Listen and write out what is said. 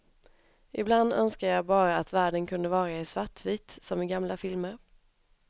Ibland önskar jag bara att världen kunde vara i svartvitt, som i gamla filmer.